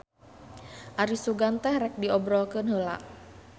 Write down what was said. Ari sugan teh rek diobrolkeun heula.